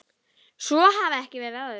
Svo hafi ekki verið áður.